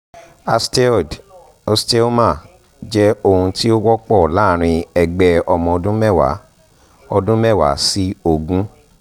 osteoid osteoma jẹ́ ohun tí ó wọ́pọ̀ láàárín ẹgbẹ́ ọmọ ọdún mẹ́wàá ọdún mẹ́wàá sí ogún